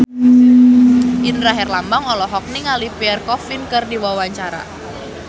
Indra Herlambang olohok ningali Pierre Coffin keur diwawancara